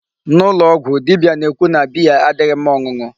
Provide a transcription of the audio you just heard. N'ụlọ ọgwụ, dibia na-ekwu na beer adịghị mma ọṅụṅụ.